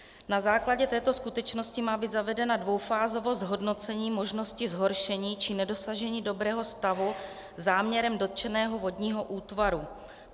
Na základě této skutečnosti má být zavedena dvoufázovost hodnocení možnosti zhoršení či nedosažení dobrého stavu záměrem dotčeného vodního útvaru.